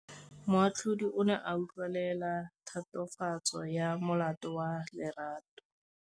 Moatlhodi o ne a utlwelela tatofatsô ya molato wa Lerato.